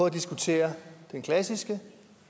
at diskutere den klassiske